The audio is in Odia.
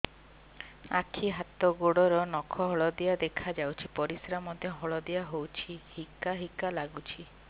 ଆଖି ହାତ ଗୋଡ଼ର ନଖ ହଳଦିଆ ଦେଖା ଯାଉଛି ପରିସ୍ରା ମଧ୍ୟ ହଳଦିଆ ହଉଛି ହିକା ହିକା ଲାଗୁଛି